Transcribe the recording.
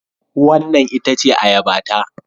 Wannan ita ce Ayabata